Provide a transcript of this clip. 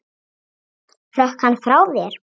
Hrökk hann frá þér?